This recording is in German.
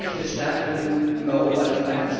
Das Recht des Stärkeren im Europa des